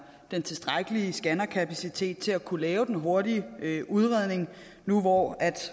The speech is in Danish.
den tilstrækkelige scannerkapacitet til at kunne lave en hurtig udredning nu hvor